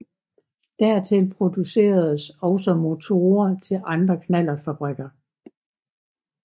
Dertil produceredes også motorer til andre knallertfabrikker